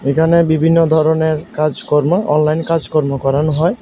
এখানে বিভিন্ন ধরনের কাজকর্ম অনলাইন কাজকর্ম করানো হয়।